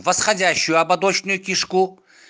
восходящую ободочную кишку